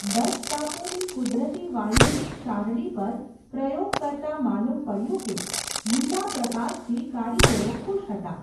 Dutch ટાપુની કુદરતી વાયુની શારડી પર, પ્રયોગ કરતાં માલૂમ પડયું કે, લીલા પ્રકાશથી કારિગરો ખુશ હતા.